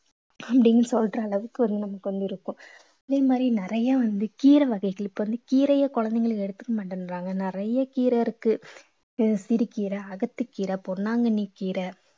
அப்படீன்னு சொல்ற அளவுக்கு வந்து நமக்கு வந்து இருக்கும் அதே மாதிரி நிறைய வந்து கீரை வகைகள் இப்ப வந்து கீரையை குழந்தைங்களு எடுத்துக்க மாட்டேன்றாங்க நிறைய கீரை இருக்கு அஹ் சிறுகீரை அகத்திக்கீரை பொன்னாங்கண்ணிக்கீரை